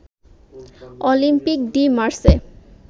Olympic de Marseille